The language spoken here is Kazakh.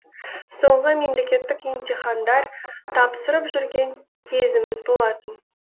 соңғы мемлекеттік емтихандар тапсырып жүрген кезіміз болатын